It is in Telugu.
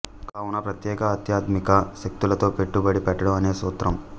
కావున ప్రత్యేక ఆధ్యాత్మిక శక్తులతో పెట్టుబడి పెట్టడం అనే సూత్రం